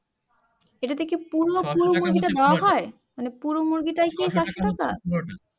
এটাতে কি পুরো ফুল মুরগিটা দেওয়া হয় মানে পুরো মুরগিটাই কি চারশো টাকা